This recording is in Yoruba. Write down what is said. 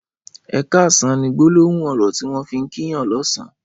''Ẹ kàsán'' ni gbólóhùn ọrọ tiwọn fi n kì yàn lọ̀sán